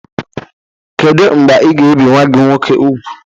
Kedu mgbe ị ga-ebi nwa gị nwoke úgwù?